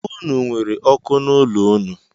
Unu nwere ọkụ n’ụlọ ụnụ